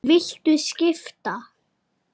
Viltu skipta?